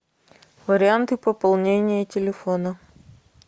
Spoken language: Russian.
варианты пополнения телефона